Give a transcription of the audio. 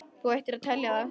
Þú ættir að telja það.